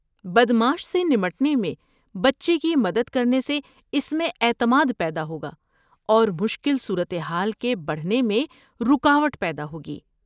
بدمعاش سے نمٹنے میں بچے کی مدد کرنے سے اس میں اعتماد پیدا ہوگا اور مشکل صورتحال کے بڑھنے میں رکاوٹ پیدا ہوگی۔